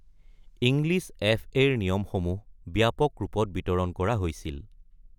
English এফ.এ.-ৰ নিয়মসমূহ ব্যাপক ৰূপত বিতৰণ কৰা হৈছিল।